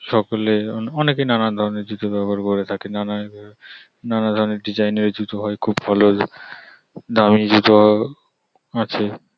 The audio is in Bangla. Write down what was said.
সকলে অনেকে নানাধরনের জুতো ব্যবহার করে থাকে নানাধরনের ডিজাইন - এর জুতো হয় খুব ভাল দারুন জুতো আছে ।